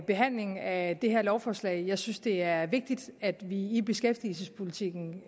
behandlingen af det her lovforslag jeg synes det er vigtigt at vi i beskæftigelsespolitikken